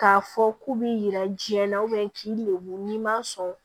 K'a fɔ k'u b'i jira jiyɛn na k'i lebu n'i ma sɔn